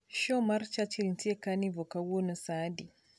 show mar churchill nitie carnovore kawuono saa adi